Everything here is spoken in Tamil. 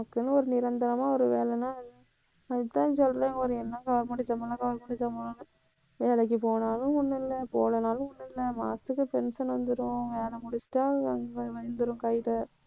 நமக்குன்னு ஒரு நிரந்தரமா ஒரு வேலைன்னா அதுதான் சொல்றேன் ஒரு என்ன government உ government உ வேலைக்கு போனாலும் ஒண்ணும் இல்லை போகலைன்னாலும் ஒண்ணும் இல்லை மாசத்துக்கு pension வந்துரும். வேலை முடிச்சிட்டா சம்பளம் வந்துரும் கையிலே.